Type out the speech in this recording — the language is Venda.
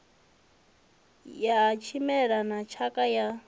ya tshimela na tshakha ya